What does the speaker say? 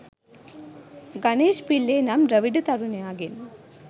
ගනේෂ් පිල්ලේ නම් ද්‍රවිඩ තරුණයාගේන්